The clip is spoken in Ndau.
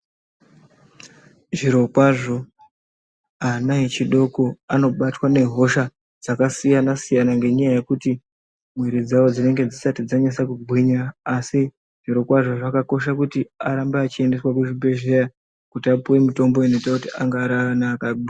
Zviro kwazvo ana echidoko anobatwa ngehosha dzakasiyana ngenyaya yekuti mwiri dzawo dzinenge dzisati dzanyasa kugwinya asi zviro kwazvo zvakakosha kuti arambe achiendeswa kuzvibhehleya kuti apuwe mutombo inoita kuti ange ariana akagwinya.